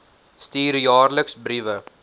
stuur jaarliks briewe